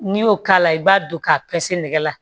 N'i y'o k'a la i b'a don k'a pɛse nɛgɛ la